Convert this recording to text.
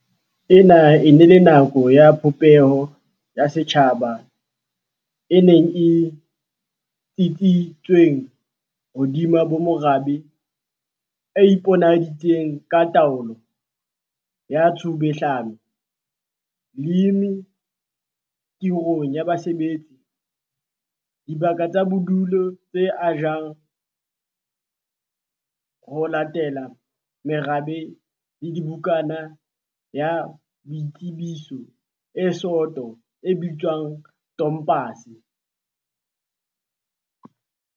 Ena e ne e le nako ya popeho ya setjhaba e neng e tsitsisitsweng hodima bomorabe, e iponahaditseng ka taolo ya tshubuhlelano, leeme khirong ya basebetsi, dibaka tsa bodulo tse ajwang ho latela merabe le bukana ya boitsebiso e soto e bitswang tompase.